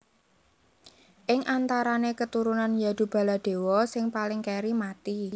Ing antarané keturunan Yadu Baladewa sing paling kèri mati